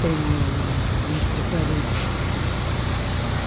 Tem um um um entre parênteses.